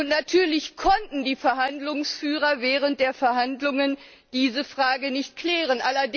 Und natürlich konnten die Verhandlungsführer während der Verhandlungen diese Frage nicht klären.